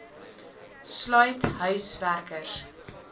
sluit huis werkers